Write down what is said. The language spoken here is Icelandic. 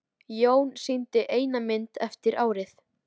Jón sýndi eina mynd eftir árið.